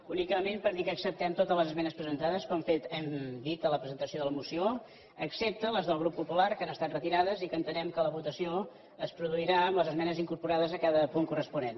únicament per dir que acceptem totes les esmenes presentades com hem dit a la presentació de la moció excepte les del grup popular que han estat retirades i entenem que la votació es produirà amb les esmenes incorporades a cada punt corresponent